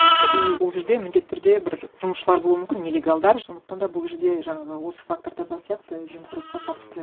иә и ол жерде міндетті түрде бір жұмысшылар болуы мүмкін нелегалдар сондықтан да бұл жерде жаңағы осы фактор да бар сияқты жемқорлыққа қатысты